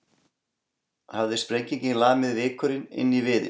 Hafði sprengingin lamið vikurinn inn í viðinn.